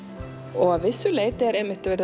og að vissu leyti er